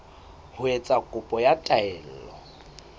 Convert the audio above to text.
ho etsa kopo ya taelo